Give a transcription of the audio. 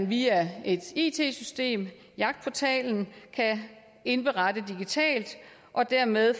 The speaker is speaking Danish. via et it system jagtportalen kan indberette digitalt og dermed